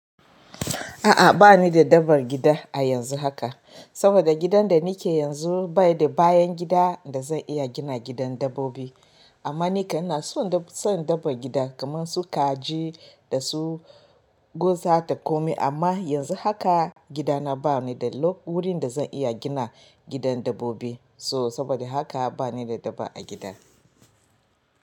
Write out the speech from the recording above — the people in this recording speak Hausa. A'a bani da dabbar gida a yanzu haka, saboda gidan da nake yanzu bai da bayan gida da zan iya gina gidan dabbobi. Amma ni kan ina son dabban gidan kaman su kaji da su gwaza da komai. Amma yanzu haka gida na bani da wurin da zan iya gina gidan dabbobi so saboda haka bani da dabba a gida.